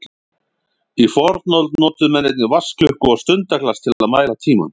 Í fornöld notuðu menn einnig vatnsklukku og stundaglas til að mæla tímann.